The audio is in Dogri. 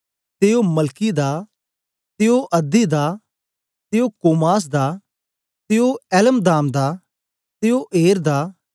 ते ओ मलकी दा ते ओ अध्दी दा ते ओ कोसाम दा ते ओ एल्मदाम दा ते ओ एर दा